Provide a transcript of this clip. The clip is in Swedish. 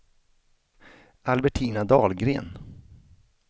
Albertina Dahlgren